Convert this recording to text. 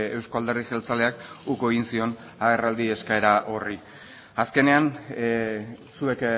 euzko alderdi jeltzaleak uko egin zion agerraldi eskaera horri azkenean zuek